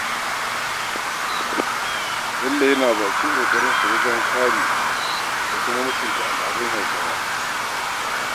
Bello yana bakin ƙoƙarinsa wajen kare da kuma mutunta al'adun Hausawa.